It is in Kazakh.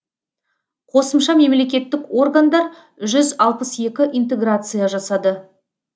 қосымша мемлекеттік органдар жүз алпыс екі интеграция жасады